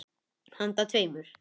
Handa tveimur